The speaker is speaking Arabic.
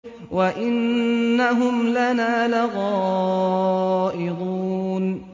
وَإِنَّهُمْ لَنَا لَغَائِظُونَ